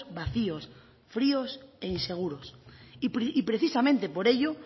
vacíos fríos e inseguros y precisamente por ello